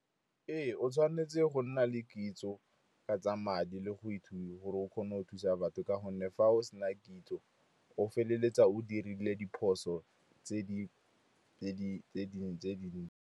Ee, o tshwanetse go nna le kitso ka tsa madi le go ithuta gore o kgone go thusa batho, ka gonne fa o se na kitso o feleletsa o dirile diphoso tse di rileng.